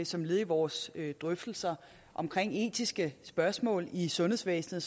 som led i vores drøftelser om etiske spørgsmål i sundhedsvæsenet